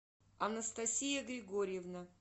анастасия григорьевна